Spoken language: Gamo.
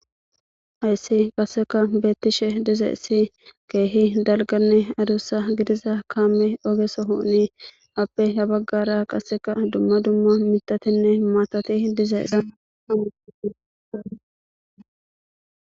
Haysi qaseka betishe dizaysi kehi dalgane adusa gidiza kamey oge sohoni ape ha bagara qaseka dumma dumma mitatine matati dizaysa .